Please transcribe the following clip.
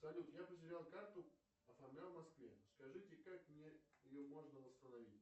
салют я потерял карту оформлял в москве скажите как мне ее можно восстановить